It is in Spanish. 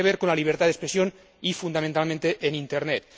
Tiene que ver con la libertad de expresión y, fundamentalmente, en Internet.